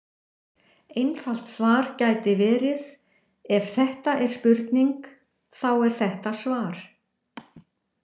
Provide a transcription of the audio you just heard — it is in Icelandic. Einfalt svar gæti verið: Ef þetta er spurning, þá er þetta svar.